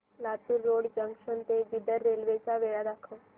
Latur road junction ते Bidar railway च्या वेळा दाखव